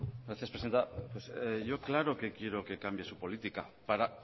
gracias presidenta yo claro que quiero que cambie su política para